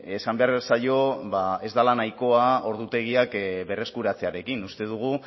esan behar zaio ez dela nahikoa ordutegiak berreskuratzearekin uste dugu